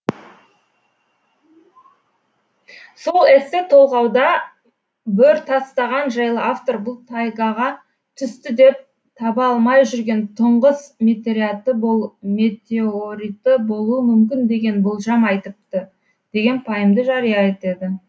сол эссе толғауда бөртастаған жайлы автор бұл тайгаға түсті деп таба алмай жүрген тұңғыс метеориті болуы мүмкін деген болжам айтыпты деген пайымды жария етеді